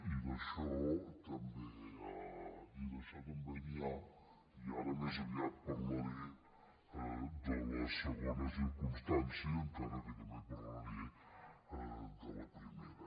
i d’això també n’hi ha i ara més aviat parlaré de la segona circumstància encara que també parlaré de la primera